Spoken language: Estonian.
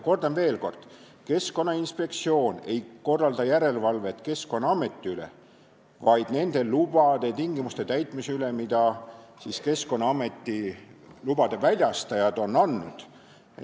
Kordan veel: Keskkonnainspektsioon ei korralda järelevalvet Keskkonnaameti üle, vaid nende lubade andmise tingimuste täitmise üle, mida Keskkonnaameti lubade väljastajad on andnud.